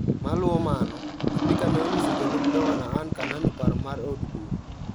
Maluo mano, spika ne onyiso jalup gavana Anne Kananu paro mar od bura.